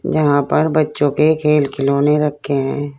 यहां पर बच्चों के खेल खिलौने रखे हैं।